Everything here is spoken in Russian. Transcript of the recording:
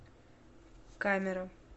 камера